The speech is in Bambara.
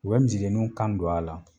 U bɛ misidenninw kan don a la